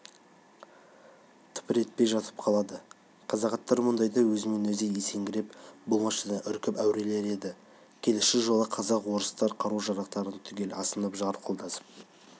тыпыр етпей жатып қалады қазақ аттары мұндайда өзінен өзі есеңгіреп болмашыдан үркіп әурелер еді келесі жолы қазақ-орыстар қару-жарақтарын түгел асынып жарқылдасып